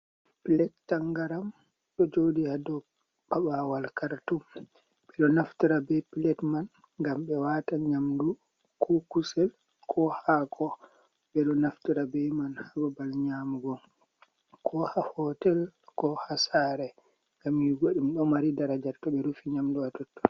Pilet tangaram ɗo joɗi ha dou paɓawal kartom ɓeɗo naftira be pilet man ngam ɓe wata nyamdu, ko kusel, ko hako, ɓeɗo naftira be man ha babal nyamugo ko ha hotel ko ha sare ngam yi'ugo ɗum ɗo mari daraja to ɓe rufi nyamdu ja totton.